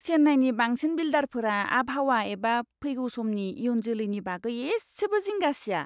चेन्नाईनि बांसिन बिल्डारफोरा आबहावा एबा फैगौ समनि इयुन जोलैनि बागै एसेबो जिंगा सिया!